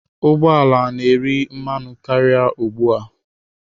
Ụgbọ ala na-eri mmanụ karịa ugbu a.